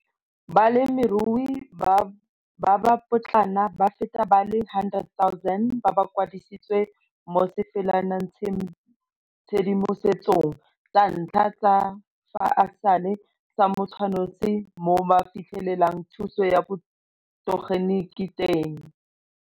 Balemirui ba ba potlana ba feta ba le 100 000 ba kwadisitswe mo sefalanatshedimosetsong sa ntlha sa fa e sale sa motshwananosi mo ba fitlhelelang thuso ya botegeniki teng.